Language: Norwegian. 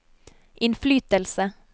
innflytelse